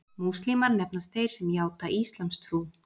Múslímar nefnast þeir sem játa íslamstrú.